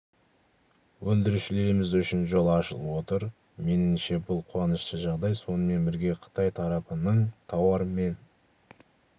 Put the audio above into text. өндірушілеріміз үшін жол ашылып отыр меніңше бұл қуанышты жағдай сонымен бірге қытай тарапының тауар мен